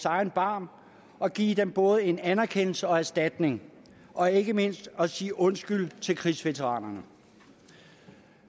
egen barm og give dem både en anerkendelse og en erstatning og ikke mindst sige undskyld til krigsveteranerne